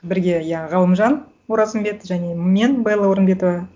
бірге иә ғалымжан оразымбет және мен белла орынбетова